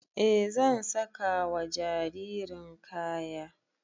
E zan saka wa jaririn kaya